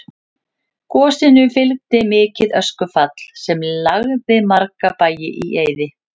Gosinu fylgdi mikið öskufall sem lagði marga bæi í eyði.